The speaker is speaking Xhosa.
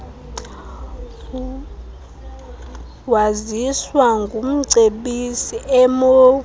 waziswa ngumcebisi emou